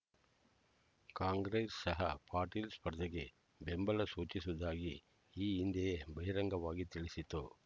ಕಾಂಗ್ರೆಸ್ ಸಹ ಪಾಟೀಲ್ ಸ್ಪರ್ಧೆಗೆ ಬೆಂಬಲ ಸೂಚಿಸುವುದಾಗಿ ಈ ಹಿಂದೆಯೇ ಬಹಿರಂಗವಾಗಿ ತಿಳಿಸಿತ್ತು